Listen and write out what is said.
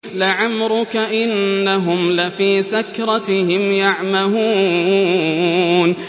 لَعَمْرُكَ إِنَّهُمْ لَفِي سَكْرَتِهِمْ يَعْمَهُونَ